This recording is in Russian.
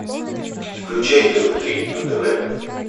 включай тв три на тв